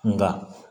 Nka